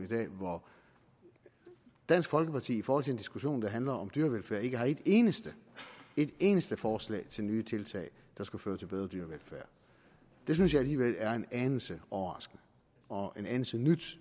i dag hvor dansk folkeparti i forhold til en diskussion der handler om dyrevelfærd ikke har et eneste et eneste forslag til nye tiltag der skulle føre til bedre dyrevelfærd det synes jeg alligevel er en anelse overraskende og en anelse nyt